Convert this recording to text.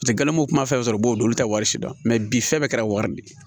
Paseke galamu kuma fɛn fɛn b'o olu t'a wari si dɔn bi fɛn bɛɛ kɛra wari min ye